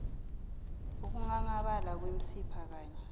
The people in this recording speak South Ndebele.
ukunghanghabala kwemisipha kanye